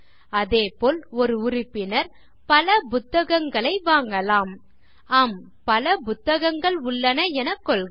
அதேபோல் ஒரு உறுப்பினர் பல புத்தகங்களை வாங்கலாம் ஆம் பல புத்தகங்கள் உள்ளன எனக் கொள்க